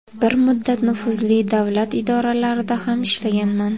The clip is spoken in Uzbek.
Bir muddat nufuzli davlat idoralarida ham ishlaganman.